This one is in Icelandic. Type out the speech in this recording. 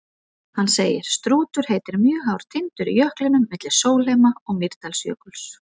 Hann segir: Strútur heitir mjög hár tindur í jöklinum milli Sólheima- og Mýrdalsjökuls.